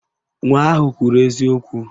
Nwa ahụ kwuru eziokwu